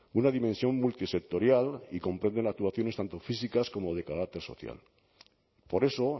una dimensión multisectorial y comprenden actuaciones tanto físicas como de carácter social por eso